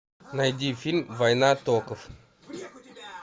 найди фильм война токов